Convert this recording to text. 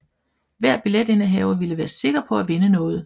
Hver billetindehaver ville være sikker på at vinde noget